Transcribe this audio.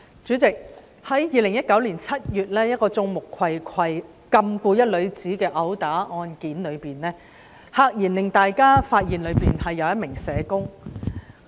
主席，在2019年7月一宗毆打案件中，有人在眾目睽睽下禁錮一名女子，大家駭然發現當中涉及一名社工。